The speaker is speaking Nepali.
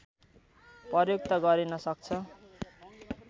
प्रयुक्त गरिन सक्छ